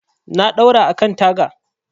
Na ɗaura a kan taga.